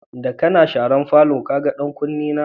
Da kana sharan falon, ka gan ɗan Kuni na?